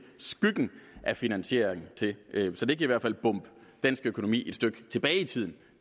skyggen af finansiering til så det kan i hvert fald bombe dansk økonomi et stykke tilbage i tiden